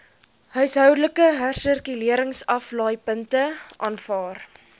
huishoudelike hersirkuleringsaflaaipunte aanvaar